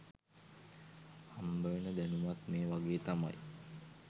හම්බවෙන දැනුමත් මේ වගේ තමයි